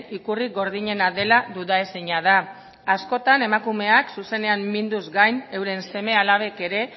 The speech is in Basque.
iturri gordinena dela duda ezina da askotan emakumeak minduz gain euren seme alabek ere